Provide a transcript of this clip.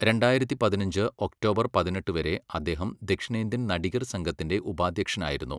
രണ്ടായിരത്തി പതിനഞ്ച് ഒക്ടോബർ പതിനെട്ട് വരെ അദ്ദേഹം ദക്ഷിണേന്ത്യൻ നടിഗർ സംഘത്തിന്റെ ഉപാധ്യക്ഷനായിരുന്നു.